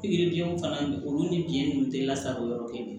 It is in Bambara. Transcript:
Pikiri biyɛnw fana olu ni biyɛn ninnu tɛ lasago yɔrɔ kelen